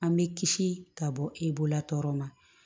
An bɛ kisi ka bɔ e bolola tɔgɔ ma